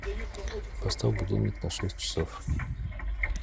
поставь будильник на шесть часов